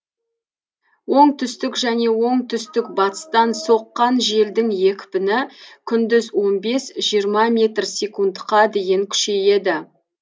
оңтүстік және оңтүстік батыстан соққан желдің екпіні күндіз он бес жиырма метр секундқа дейін күшейеді